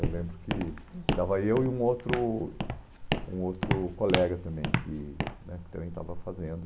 Eu lembro que estava eu e um outro um outro colega também, que né também estava fazendo.